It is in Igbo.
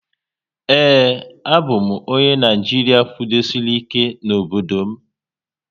Ee, a bụ m onye Naijiria kwudosiri ike n'obodo m